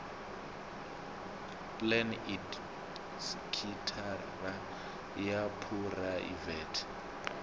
plan idp sekithara ya phuraivete